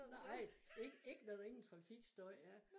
Nej ikke ikke når der ingen trafikstøj er